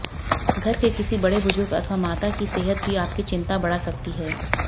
घर के किसी बड़े बुजूर्ग अथवा माता की सेहत भी आपकी चिंता बढ़ा सकती है